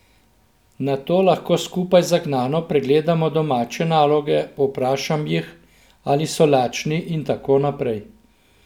Nato lahko skupaj zagnano pregledamo domače naloge, povprašam jih, ali so lačni, in tako naprej.